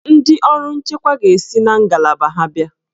Ndị ọrụ nchekwa ga-esi na ngalaba ha abịa.